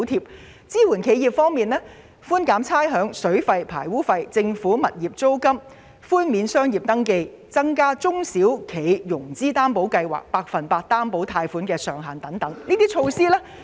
企業支援方面，預算案建議寬減差餉、水費、排污費及政府物業租金；寬免商業登記，以及調高中小企融資擔保計劃百分百擔保貸款的上限等。